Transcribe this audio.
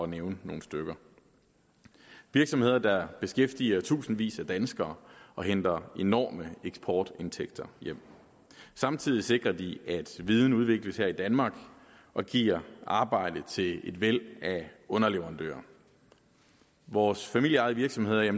nævne nogle stykker virksomheder der beskæftiger i tusindvis af danskere og henter enorme eksportindtægter hjem samtidig sikrer de at viden udvikles her i danmark og giver arbejde til et væld af underleverandører vores familieejede virksomheder er